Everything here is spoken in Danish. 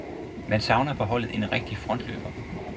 Man savner på holdet en rigtig frontløber.